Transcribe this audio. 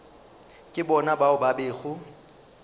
ke bona bao ba bego